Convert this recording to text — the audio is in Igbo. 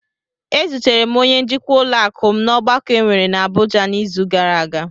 Ezutere m onye njikwa ụlọakụ m n'ọgbakọ enwere n'Abụja n'izu gara aga.